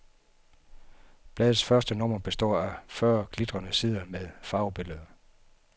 Bladets første nummer består af fyrre glittede sider med farvebilleder.